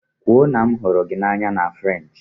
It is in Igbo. Kwuo na m hụrụ gị n'anya na Frenshi!